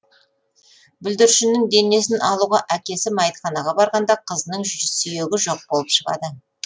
бүлдіршіннің денесін алуға әкесі мәйітханаға барғанда қызының сүйегі жоқ болып шығады